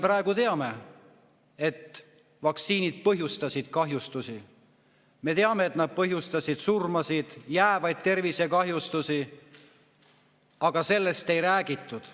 Praegu me teame, et vaktsiinid põhjustasid kahjustusi, me teame, et nad põhjustasid surmasid ja jäävaid tervisekahjustusi, aga sellest ei räägitud.